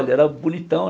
Ele era bonitão.